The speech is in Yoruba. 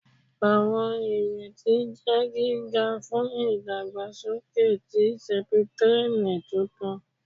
Awọn ireti jẹ giga fun idagbasoke ti septrin tuntun